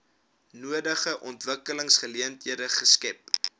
nodige ontwikkelingsgeleenthede skep